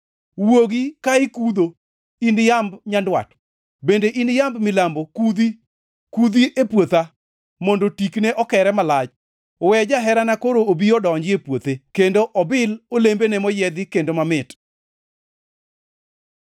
Wuogi ka ikudho, in yamb nyandwat, bende in yamb milambo kudhi! Kudhi e puotha, mondo tikne okere malach. We jaherana koro obi odonji e puothe kendo obil olembene moyiedhi kendo mamit.